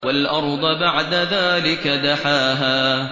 وَالْأَرْضَ بَعْدَ ذَٰلِكَ دَحَاهَا